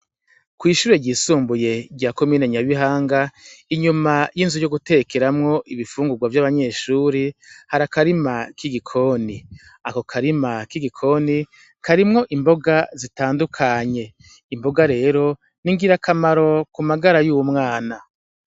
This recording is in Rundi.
Kw'ishure ryisumbuye rya Komine Nyabihanga, inyuma y'inzu yo gutekeramwo ibifungurwa vy'abanyeshure hari akarima k'igikoni, ako karima k'igikoni karimwo imboga zitandukanye. Imboga rero n'ingirakamaro ku magara y'umwana.